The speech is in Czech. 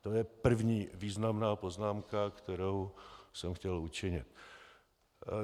To je první významná poznámka, kterou jsem chtěl učinit.